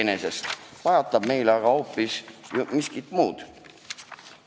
Mida pajatab meile statistika?